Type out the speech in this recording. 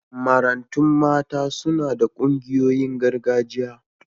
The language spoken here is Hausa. Marantun mata suna da ƙungoyin gargajiya.